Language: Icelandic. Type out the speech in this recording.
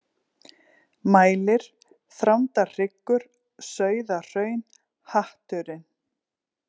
Mælir, Þrándarhryggur, Sauðahraun, Hatturinn